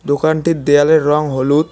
দোকানটির দেয়ালের রং হলুদ।